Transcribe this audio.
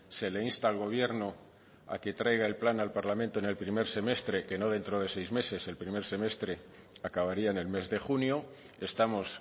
se le insta al gobierno a que traiga el plan al parlamento en el primer semestre que no dentro de seis meses el primer semestre acabaría en el mes de junio estamos